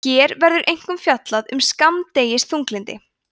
hér verður einkum fjallað um skammdegisþunglyndi